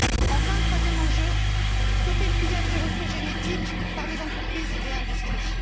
Enfin, troisième enjeu, stopper le pillage des ressources génétiques par des entreprises et industries.